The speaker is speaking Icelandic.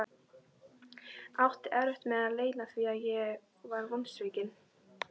Átti erfitt með að leyna því að ég var vonsvikinn.